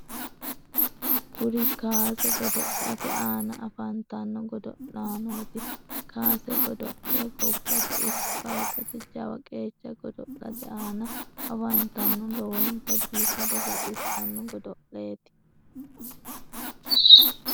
kuri kaase godo'late aana afantanno godo'laanoti. kaase godo'le gobbate ikko kalqete jawa qeecha godo'late aana afantanno lowonta biifado baxxissanno godo'leti.